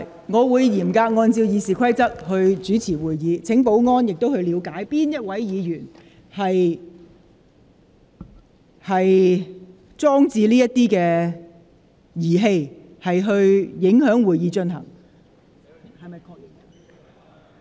我會嚴格按照《議事規則》主持會議，亦請保安人員了解是哪位議員放置發聲物件，妨礙會議進行。